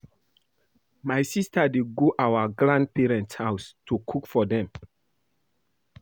My sister dey go our grandparents house to go cook for dem